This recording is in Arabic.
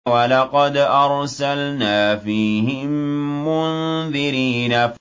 وَلَقَدْ أَرْسَلْنَا فِيهِم مُّنذِرِينَ